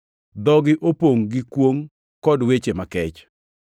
“Dhogi opongʼ gi kwongʼ kod weche makech.” + 3:14 \+xt Zab 10:7\+xt*